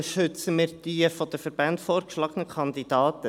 Wir unterstützen die von den Verbänden vorgeschlagenen Kandidaten.